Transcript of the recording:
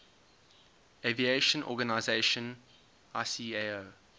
aviation organization icao